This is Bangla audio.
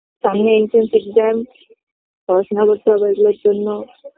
সামনে HS exam পড়াশুনো করতে হবে এগুলোর জন্য